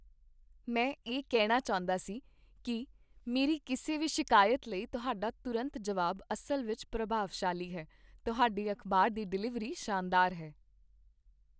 ਮੈਂ ਇਹ ਕਹਿਣਾ ਚਾਹੁੰਦਾ ਸੀ ਕੀ ਮੇਰੀ ਕਿਸੇ ਵੀ ਸ਼ਿਕਾਇਤ ਲਈ ਤੁਹਾਡਾ ਤੁਰੰਤ ਜਵਾਬ ਅਸਲ ਵਿੱਚ ਪ੍ਰਭਾਵਸ਼ਾਲੀ ਹੈ, ਤੁਹਾਡੀ ਅਖ਼ਬਾਰ ਦੀ ਡਿਲੀਵਰੀ ਸ਼ਾਨਦਾਰ ਹੈ।